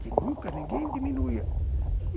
que nunca ninguém diminuía.